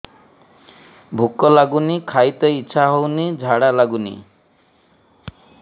ଭୁକ ଲାଗୁନି ଖାଇତେ ଇଛା ହଉନି ଝାଡ଼ା ଲାଗୁନି